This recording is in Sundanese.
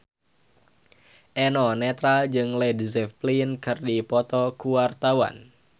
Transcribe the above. Eno Netral jeung Led Zeppelin keur dipoto ku wartawan